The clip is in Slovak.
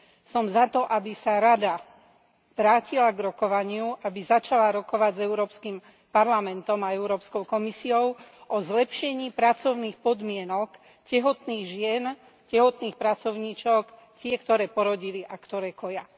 Som za to, aby sa Rada vrátila k rokovaniu, aby začala rokovať s Európskym parlamentom a Európskou komisiou o zlepšení pracovných podmienok tehotných žien tehotných pracovníčok tých, ktoré porodili a ktoré koja.